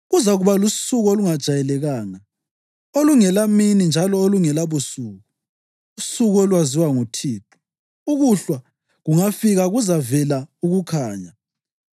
Kuzakuba lusuku olungajayelekanga, olungelamini njalo olungelabusuku, usuku olwaziwa nguThixo. Ukuhlwa kungafika kuzavela ukukhanya.